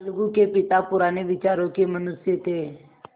अलगू के पिता पुराने विचारों के मनुष्य थे